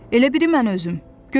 Elə bil ki mən özüm.